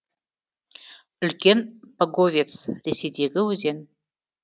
үлкен паговец ресейдегі өзен